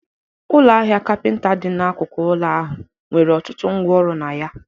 Ụlọ ahịa capinta dị n'akụkụ ụlọ ahụ nwere ọtụtụ ngwá ọrụ na ya